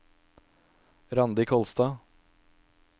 Randi Kolstad